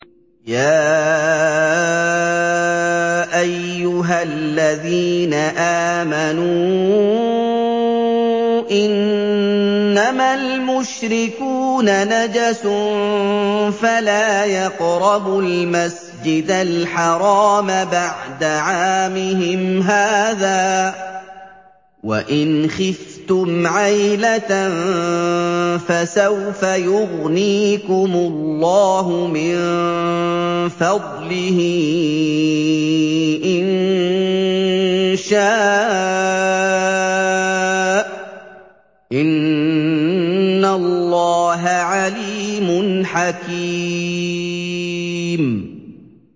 يَا أَيُّهَا الَّذِينَ آمَنُوا إِنَّمَا الْمُشْرِكُونَ نَجَسٌ فَلَا يَقْرَبُوا الْمَسْجِدَ الْحَرَامَ بَعْدَ عَامِهِمْ هَٰذَا ۚ وَإِنْ خِفْتُمْ عَيْلَةً فَسَوْفَ يُغْنِيكُمُ اللَّهُ مِن فَضْلِهِ إِن شَاءَ ۚ إِنَّ اللَّهَ عَلِيمٌ حَكِيمٌ